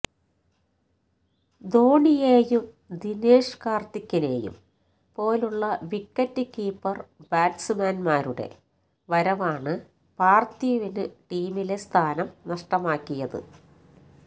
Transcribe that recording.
ധോണിയേയും ദിനേഷ് കാര്ത്തിക്കിനേയും പോലുള്ള wicket keeper ബാറ്റ്സ്മാന്മാരുടെ വരവാണ് പാര്ത്ഥിവിന് ടീമിലെ സ്ഥാനം നഷ്ടമാക്കിയത്